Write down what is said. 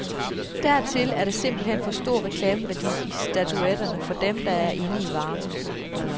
Dertil er der simpelt hen for stor reklameværdi i statuetterne, for dem, der er inde i varmen.